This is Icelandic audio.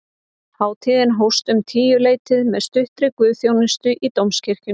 Hátíðin hófst um tíuleytið með stuttri guðsþjónustu í dómkirkjunni